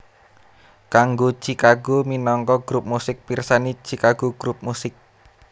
Kanggo Chicago minangka grup musik pirsani Chicago grup musik